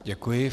Děkuji.